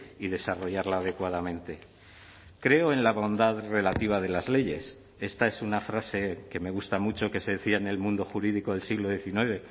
y desarrollarla adecuadamente creo en la bondad relativa de las leyes esta es una frase que me gusta mucho que se decía en el mundo jurídico del siglo diecinueve